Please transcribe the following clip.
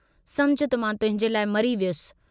समुझ त मां तुहिंजे लाइ मरी वियुसि।